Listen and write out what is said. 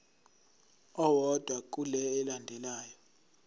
owodwa kule elandelayo